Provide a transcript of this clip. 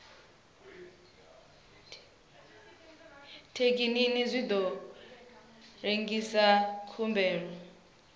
thekinini zwi ḓo lengisa khumbelo